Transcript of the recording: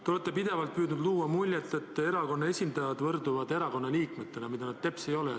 Te olete pidevalt püüdnud jätta muljet, et erakonna esindajad võrduvad kõigi erakonna liikmetega, mida nad teps ei ole.